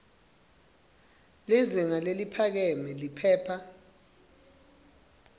lizinga leliphakeme liphepha